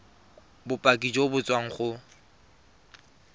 bopaki jo bo tswang go